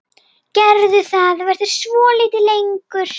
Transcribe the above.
Gerðu það, vertu svolítið lengur.